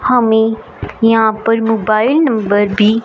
हमें यहां पर मोबाइल नंबर भी--